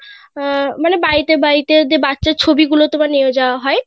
আহ মানে বাড়িতে বাড়িতে যে বাচ্চার ছবি গুলো তোমার নিয়ে যাওয়া হয়